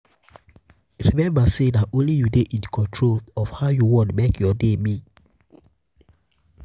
remmba say na only yu fit dey in control of how yu wan mek yur day be